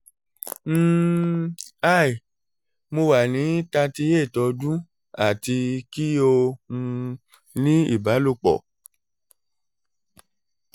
um hi mo wa ni thirty eight ọdun ati ki o um ni ibalopo